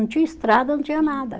Não tinha estrada, não tinha nada.